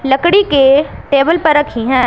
लकड़ी के टेबल पर रखी हैं।